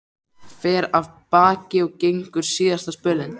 Fer af baki og gengur síðasta spölinn.